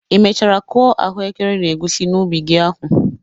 Ị mechara kụọ ahụekere na egusi n'ubi gi ahụ?